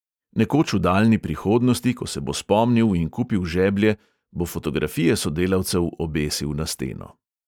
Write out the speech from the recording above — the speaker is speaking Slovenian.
Nekoč v daljni prihodnosti, ko se bo spomnil in kupil žeblje, bo fotografije sodelavcev obesil na steno.